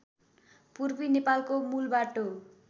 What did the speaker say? पूर्वी नेपालको मूलबाटो